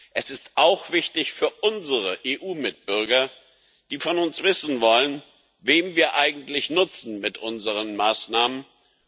Es ist auch wichtig für unsere EU Mitbürger, die von uns wissen wollen, wem wir eigentlich mit unseren Maßnahmen nutzen.